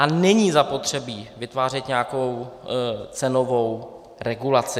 A není zapotřebí vytvářet nějakou cenovou regulaci.